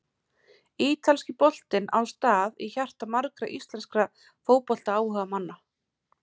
Ítalski boltinn á stað í hjarta margra íslenskra fótboltaáhugamanna.